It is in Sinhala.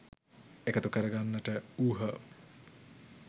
එකතු කරගන්නට වූහ.